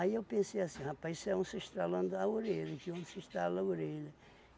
eu pensei assim, rapaz, isso é um estralando a orelha, que onça se estrala a orelha.